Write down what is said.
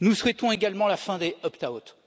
Nous souhaitons également la fin des opt out